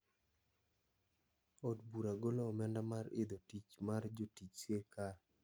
"Od bura golo omenda mar idho tich mar jotij sirkal.